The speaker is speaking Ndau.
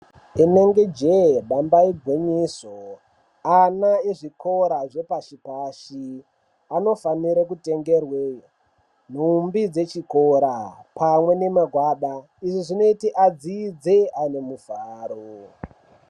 Inenge jee damba igwinyiso ane ezvikora zvepashi pashi anofanire kutengerwe nhumbi dzechikora pamwe nemagwada izvi zvinoti adzidze ane mufaro.